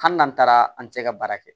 Hali n'an taara an tɛ se ka baara kɛ